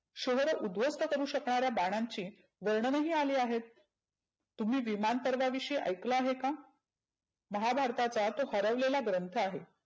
शहर उध्वस्त करु शकणाऱ्या बाणांची वर्णनही आली आहेत. तुम्ही विमान परवां विषयी ऐकलं आहे का? महाभारताचा तो हरवलेला ग्रंथ आहे.